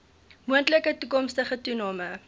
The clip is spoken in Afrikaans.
moontlike toekomstige toename